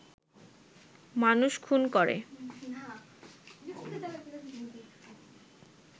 মানুষ খুন করে